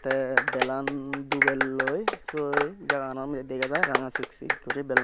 teh belan dubeloi so jaganoni degajai ranga six six belan.